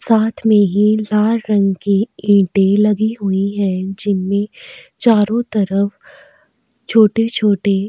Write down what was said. साथ में ही ला रंग की ईंटें लगी हुई हैं जिनमें चारों तरफ छोटे-छोटे --